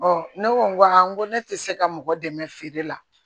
ne ko n ko a n ko ne tɛ se ka mɔgɔ dɛmɛ feere la